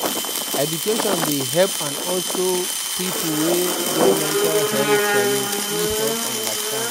Education dey help and also pipo wey get mental health challenge fit help understand